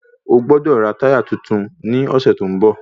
Ọgbọ́dọ̀ rà táyà titun ní ọ̀sẹ̀ tó ń bọ̀